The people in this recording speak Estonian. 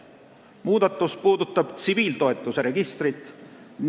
Muudatus puudutab tsiviiltoetuse registrit.